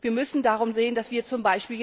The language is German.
Wir müssen darum sehen, dass wir z.